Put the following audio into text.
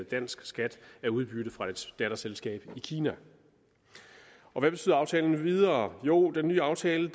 dansk skat af udbytte fra et datterselskab i kina hvad betyder aftalen videre jo den nye aftale